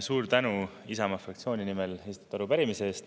Suur tänu Isamaa fraktsiooni nimel esitatud arupärimise eest.